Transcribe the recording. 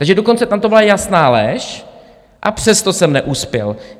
Takže dokonce tam to byla jasná lež, a přesto jsem neuspěl.